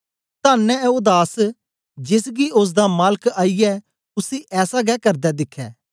धन्न ऐ ओ दास जेस गी ओसदा मालक आईयै उसी ऐसा गै करदे दिखै